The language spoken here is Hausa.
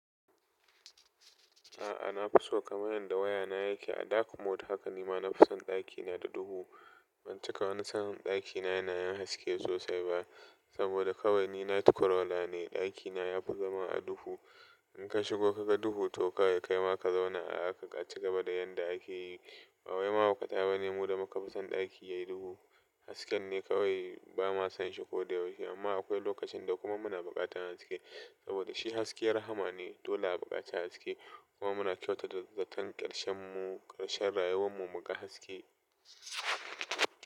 A'a, na fi so kamar yadda wayana yake a dark mode haka nima na fi son ɗakina da duhu. Ban cika wani san ɗakina yana yin haske sosai ba saboda kawai ni night crawler ne. Ɗakina ya fi zama a duhu. In ka shigo ka ga duhu to kawai ka yi ma ka zauna a haka ka ci gaba da yadda ake yi. Bawai mahauka ta bane mu da muka fi son ɗaki yayi duhu. Hasken ne kawai ba ma san shi ko da yaushe amma akwai lokacin da kuma muna buƙatan haske saboda shi haske rahama ne. Dola a buƙaci haske kuma muna kyauta da zaton ƙarshen mu, ƙarshen rayuwar mu muga haske.